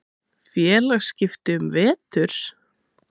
Félagsskipti um vetur?